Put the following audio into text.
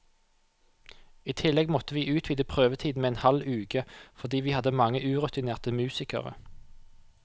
I tillegg måtte vi utvide prøvetiden med en halv uke, fordi vi hadde mange urutinerte musikere.